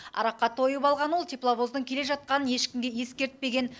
араққа тойып алған ол тепловоздың келе жатқанын ешкімге ескертпеген